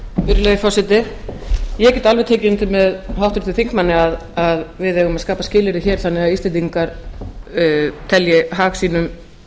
virðulegi forseti ég get alveg tekið undir með háttvirtum þingmanni að við eigum að skapa skilyrði hér þannig að íslendingar telji hag sínum